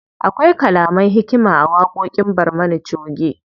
Akwai kalaman hikima a waƙoƙin barmana choge.